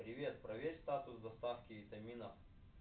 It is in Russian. привет проверь статус доставки витамина